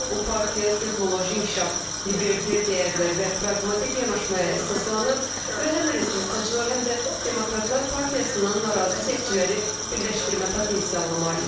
Bu partiya texnoloji inkişaf, libertar dəyərlər və praqmatik yanaşmaya əsaslanır və həm respublikaçılar, həm də demokratlar partiyasından narazı seçiciləri birləşdirmək potensialına malikdir.